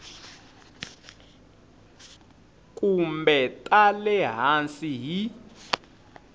kumbe ta le hansi hi